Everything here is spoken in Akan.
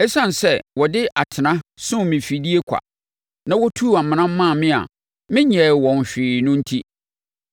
Esiane sɛ wɔde atena sum me afidie kwa na wɔtuu amena maa me a menyɛɛ wɔn hwee no enti